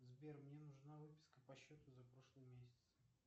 сбер мне нужна выписка по счету за прошлый месяц